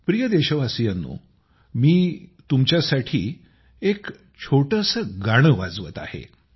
प्रिय देशवासियांनो मी तुमच्यासाठी एक छोटेसे गाणे वाजवत आहे